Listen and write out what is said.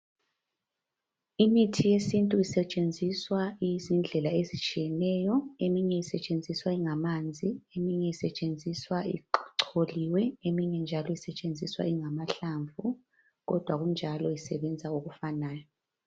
Imithi yesintu isetshenziswa iyizindlela ezitshiyeneyo. Eminye isetshenziswa ingamanzi, eminye isetshenziswa icholiwe, eminye njalo isetshenziswa ingamahlamvu kodwa kunjalo isebenza okufanayo.